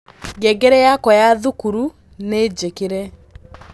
ngengere yakwa ya thukuru ni njĩkĩre